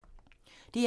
DR2